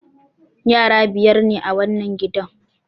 Yara biyar ne a wannan gidan.